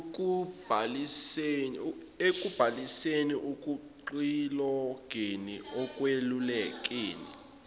ekubhaliseni ekuxilongeni ekwelulekeni